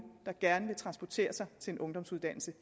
der gerne vil transportere sig til en ungdomsuddannelse